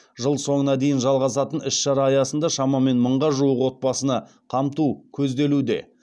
жыл соңына дейін жалғасатын іс шара аясында шамамен мыңға жуық отбасыны қамту көзделуде